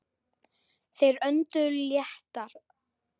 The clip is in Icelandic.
Þeir önduðu léttar.